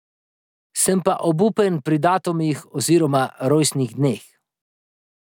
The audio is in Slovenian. Sem pa obupen pri datumih oziroma rojstnih dneh.